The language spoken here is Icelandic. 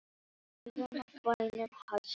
Í guðanna bænum hættu